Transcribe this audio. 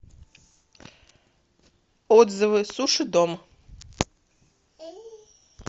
отзывы суши дом